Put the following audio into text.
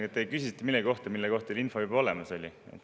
Ühesõnaga, te küsisite millegi kohta, mille kohta teil info juba olemas oli.